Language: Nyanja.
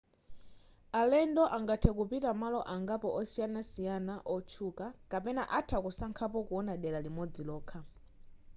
alendo angathe kupita malo angapo osiyanasiyana otchuka kapena atha kusankhapo kuona dera limodzi lokha